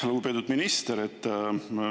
Lugupeetud minister!